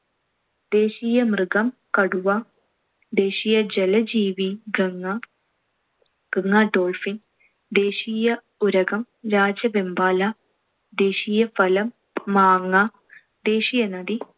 ദേശീയ മൃഗം കടുവ. ദേശീയ ജലജീവി ഗംഗ~ ഗംഗ dolphin. ദേശീയ ഉരഗം രാജവെമ്പാല. ദേശീയ ഫലം മാങ്ങ. ദേശീയ നദി